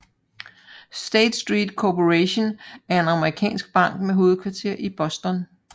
State Street Corporation er en amerikansk bank med hovedkvarter i Boston